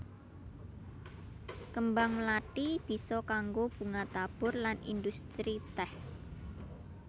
Kembang mlathi bisa kanggo bunga tabur lan industri tèh